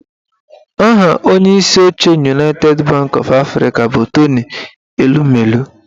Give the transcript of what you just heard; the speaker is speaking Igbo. Aha onyeisi oche Unaited banki ọf Afrịka bụ Tony Elumelu